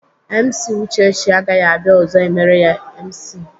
MC Uchechi agaghị abịa ọzọ emere ya MC.